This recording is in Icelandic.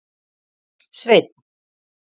Sveinn